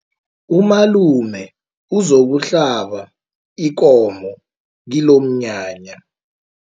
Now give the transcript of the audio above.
Umalume uzokuhlaba ikomo kilomnyanya.